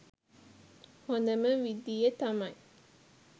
හොඳම විධිය තමයි